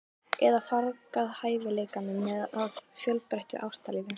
Eða fargað hæfileikanum með of fjölbreyttu ástalífi?